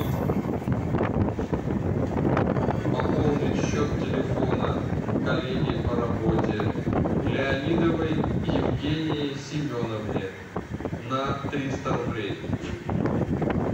пополнить счет телефона коллеги по работе леонидовой евгении семеновне на триста рублей